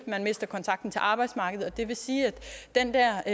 mister kontakten til arbejdsmarkedet det vil sige at den der